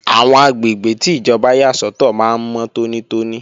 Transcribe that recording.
Àwọn àgbègbè tí ìjọba yà sọ́tọ̀ máa ń mọ́ tónítóní